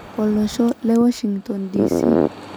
Olosho le Washingtone DC.